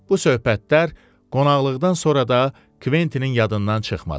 Bu söhbətlər qonaqlıqdan sonra da Kventinin yadından çıxmadı.